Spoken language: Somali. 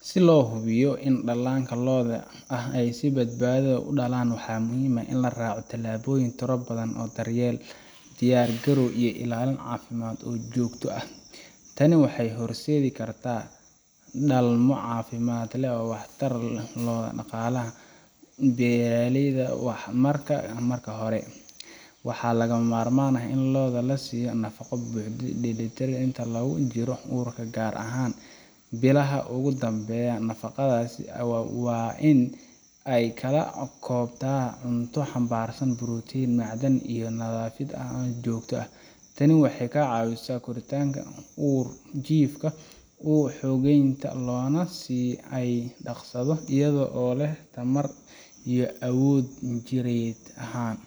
Si lohubiyo ni dalanka looda ay si badbadaa ah udalaan waxa muxiim ah in laraco talaboyin tirabadan iyo diyar galow iyo cafimada oo jogta ah, taani waxay horsedi karta dalmo famid ah oo waxtar leh, daqalaha beraleydha waxa marka hore, waxa lagamarman ah in looda lasiyo nafago buxda inta lagujiro urka gaar ahan bilaha ogudambeyaan, nafagadasi wa in ay kalakobta cunta hanbarsan protein macdaan iyo nadafid jogta ah, taani waxay kacawisa ur jifka unasiyan daqsado iyado o leh tamar iyo awod jired ahan,